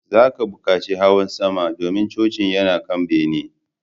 Za ka buƙaci hawa sama, domin coci yana kan bene